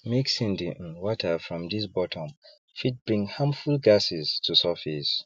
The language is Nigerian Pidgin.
mixing the um water from ths bottom fit bring harmful gases to surface